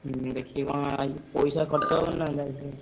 ହୁଁ ଦେଖିକି କଣ ଆଉ ପଇସା ଖର୍ଚ କଣ ହବନି ଏଇଥିରେ?